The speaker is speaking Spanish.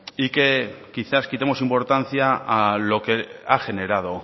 y que quizás quitemos importancia a lo que ha generado